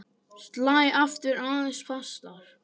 Slæ aftur aðeins fastar.